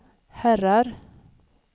herrar